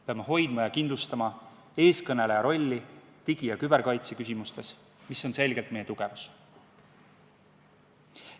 Peame hoidma ja kindlustama eestkõneleja rolli digi- ja küberkaitse küsimustes, mis on selgelt meie tugevus.